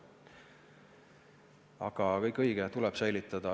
Aga kõik on õige, elurikkust tuleb säilitada.